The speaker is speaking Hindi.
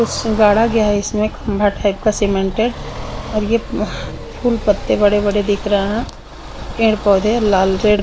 कुछ गाड़ा गया है इसमें खंबा टाईप का सीमेंटेड और ये फूल पत्ते बड़े बड़े दिख रहे है पेड़ पौदे लाल रेड --